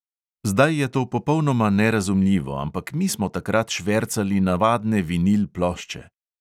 Zdaj je to popolnoma nerazumljivo, ampak mi smo takrat švercali navadne vinil plošče.